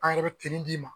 An yɛrɛ bɛ d'i ma